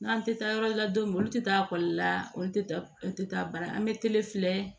N'an tɛ taa yɔrɔ la don min olu tɛ taa ekɔli la olu tɛ taa olu ta baara an bɛ kelen filɛ